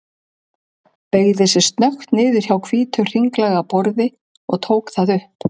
Beygði sig snöggt niður hjá hvítu, hringlaga borði og tók það upp.